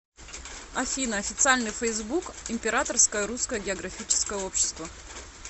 афина официальный фейсбук императорское русское географическое общество